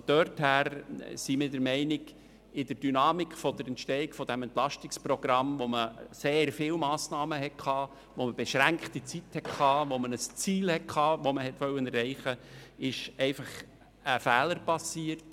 Daher sind wir der Meinung, in der Dynamik der Entstehung dieses Entlastungsprogramms, welches sehr viele Massnahmen enthielt und wobei man nur beschränkte Zeitressourcen zur Erreichung des Ziels zur Verfügung hatte, sei ein Fehler passiert.